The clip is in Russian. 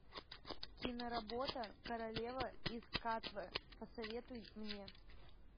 киноработа королева из катве посоветуй мне